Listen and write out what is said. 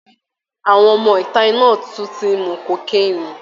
Àwọn ọmọ ìta náà tún ti ń mu kokéènì